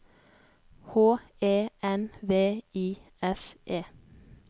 H E N V I S E